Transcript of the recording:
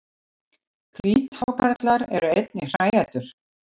Hvíthákarlar eru einnig hræætur.